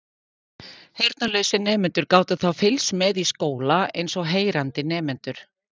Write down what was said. Heyrnarlausir nemendur gátu þá fylgst með í skóla eins og heyrandi nemendur.